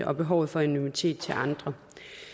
og behovet for anonymitet til andre